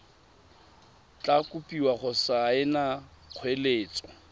tla kopiwa go saena kgoeletso